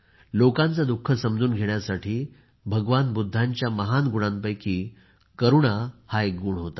लोकांचे दुःख समजून घेण्यासाठी भगवान बुद्धांच्या महान गुणांपैकी करुणा हा एक गुण होता